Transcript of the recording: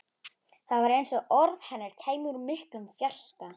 Það var eins og orð hennar kæmu úr miklum fjarska.